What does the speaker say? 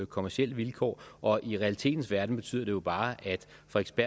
kommercielle vilkår og i realiteternes verden betyder det jo bare